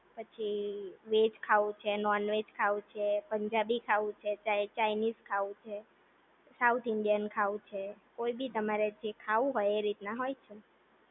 પછી ઈ વેઝ ખાવું છે નોન વેઝ ખાવું છે, પંજાબી ખાવું છે, ચાઈનીઝ ખાવું છે, સાઉથ ઇન્ડિયન ખાવું છે, કોઈ ભી તમારે જે ખાવું હોય એ રીતના હોય છે